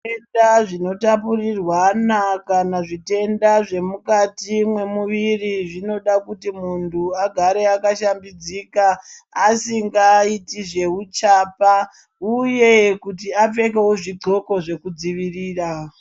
Zvitenda zvinotapurirwana kana zvitenda zvemukati mwemuviri zvinoda kuti muntu agare akashambidzika asingaiti zveuchapa uye kuti apfekewo zvodxoko zvekudzivirira.